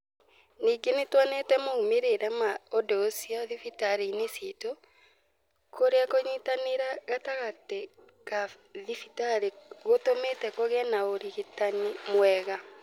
Ningĩ nĩ tuonete moimĩrĩro ma ũndũ ũcio thibitarĩ-inĩ ciitũ, kũrĩa kũnyitanĩra gatagatĩ ka thibitarĩ gũtũmĩte kũgĩe na ũrigitani mwega.